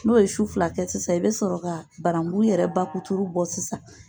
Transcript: N'o ye su fila kɛ sisan i bɛ sɔrɔ ka barangu yɛrɛ bakuturu bɔ sisan.